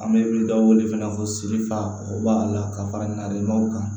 An bɛ dɔw wele fana ko sidifa ko bala ka fara ɲɔw kan